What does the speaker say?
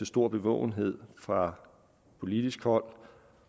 stor bevågenhed fra politisk hold